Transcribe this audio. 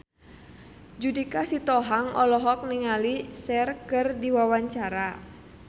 Judika Sitohang olohok ningali Cher keur diwawancara